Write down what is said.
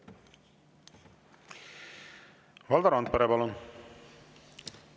Valdo Randpere, palun!